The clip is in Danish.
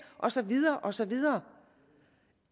og så videre og så videre